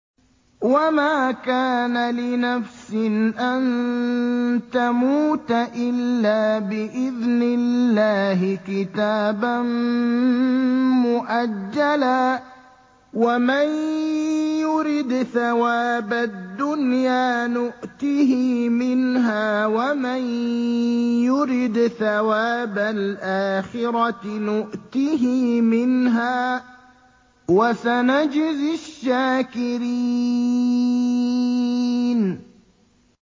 وَمَا كَانَ لِنَفْسٍ أَن تَمُوتَ إِلَّا بِإِذْنِ اللَّهِ كِتَابًا مُّؤَجَّلًا ۗ وَمَن يُرِدْ ثَوَابَ الدُّنْيَا نُؤْتِهِ مِنْهَا وَمَن يُرِدْ ثَوَابَ الْآخِرَةِ نُؤْتِهِ مِنْهَا ۚ وَسَنَجْزِي الشَّاكِرِينَ